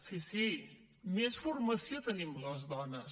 sí sí més formació tenim les dones